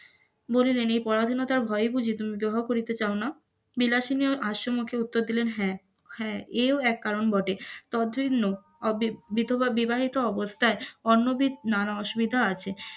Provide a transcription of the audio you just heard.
বলিলেন এই পরাধীনতার ভয়ে বুঝি বিবাহ করিতে চাহ না, বিলাসিনি হাস্য মুখে উত্তর দিলেন হ্যাঁ, হ্যাঁ এও এক কারণ বটে, তদভিন্ন অবিবাহিত অবস্থায় অন্যভিত নোনা অসুবিধা আছে ,